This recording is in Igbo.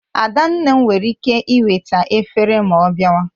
Adanne m were ike eweta efere ma ọ biawa